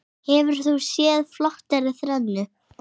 Hefur þú séð flottari þrennu?